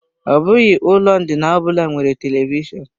Ọ bụghị ụlọ ndina ọbụla nwere televishọnụ.